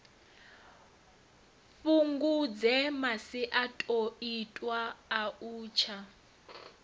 fhungudze masiandoitwa a u tsa